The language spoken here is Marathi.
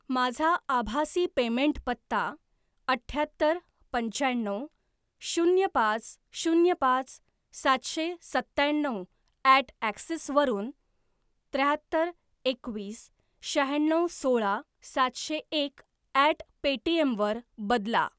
माझा आभासी पेमेंट पत्ता अठ्याहत्तर पंच्याण्णव शून्य पाच शून्य पाच सातशे सत्त्याण्णव ॲट ॲक्सिस वरून त्र्याहत्तर एकवीस शहाण्णव सोळा सातशे एक ॲट पेटीएम वर बदला